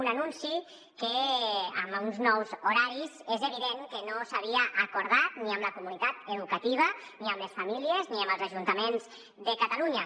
un anunci que amb uns nous horaris és evident que no s’havia acordat ni amb la comunitat educativa ni amb les famílies ni amb els ajuntaments de catalunya